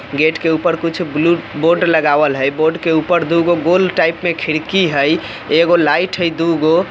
गेट के ऊपर कुछ ब्लू बोर्ड लगावल हेय बोर्ड के ऊपर दूगो गोल टाइप में खिड़की हेय एगो लाइट हय दुगो--